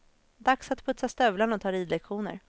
Dags att putsa stövlarna och ta ridlektioner.